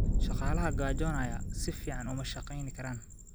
Shaqaalaha gaajoonaya si fiican uma shaqayn karaan.